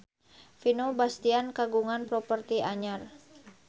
Vino Bastian kagungan properti anyar